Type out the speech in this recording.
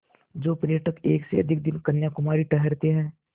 जो पर्यटक एक से अधिक दिन कन्याकुमारी ठहरते हैं